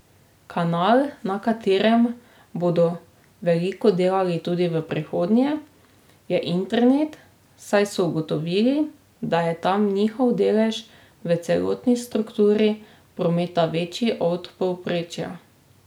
Kanal, na katerem bodo veliko delali tudi v prihodnje, je internet, saj so ugotovili, da je tam njihov delež v celotni strukturi prometa večji od povprečja.